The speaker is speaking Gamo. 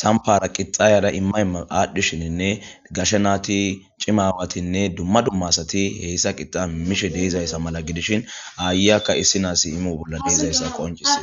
sampara qixayada immayaadhdhishininne gashe naati cimawatinne dumma dummasati heyssa qixa imishe deeizayssa mala gidishin aayeyakka issi naasi imo bolla deezayssa qoncisis